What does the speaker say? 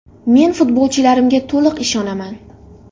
Men futbolchilarimga to‘liq ishonaman.